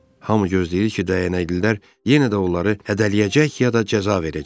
Hamı gözləyirdi ki, dəyənəklilər yenə də onları hədələyəcək ya da cəza verəcək.